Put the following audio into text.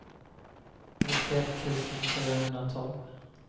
nittioett tusen fyrahundratolv